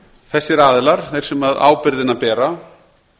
þessir aðilar þeir sem ábyrgðina bera